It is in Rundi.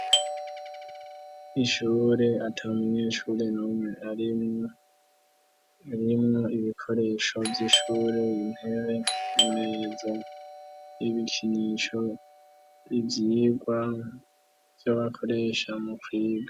Ishure ata munyeshure numwe arimwo, ndabona ibikoresho vy'ishure, intebe, imeza, ibikinisho, ivyigwa, ivyo bakoresha mu kwiga.